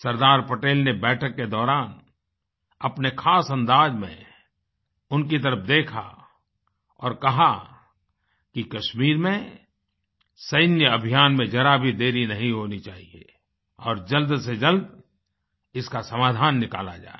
सरदार पटेल ने बैठक के दौरान अपने ख़ास अंदाज़ में उनकी तरफ देखा और कहा कि कश्मीर में सैन्य अभियान में ज़रा भी देरी नहीं होनी चाहिये और जल्द से जल्द इसका समाधान निकाला जाए